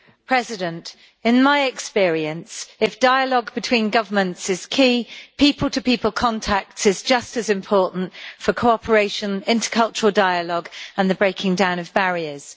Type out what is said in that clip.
Mr President, in my experience, if dialogue between governments is key, people to people contact is just as important for cooperation, intercultural dialogue and the breaking down of barriers.